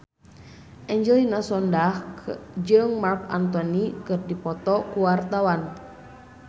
Angelina Sondakh jeung Marc Anthony keur dipoto ku wartawan